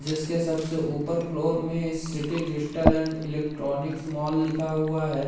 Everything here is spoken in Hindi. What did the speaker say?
जिसके सबसे ऊपर फ्लोर में city digital and electronics mall लिखा हुआ है।